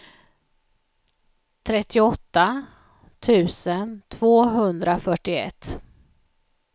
trettioåtta tusen tvåhundrafyrtioett